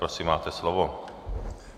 Prosím, máte slovo.